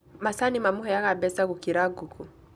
Macani mamũheaga mbeca gũkĩra ngũkũ